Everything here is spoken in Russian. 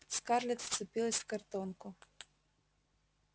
скарлетт вцепилась в картонку